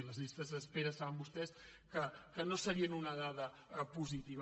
i les llistes d’espera saben vostès que no serien una dada positiva